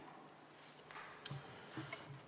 Aeg!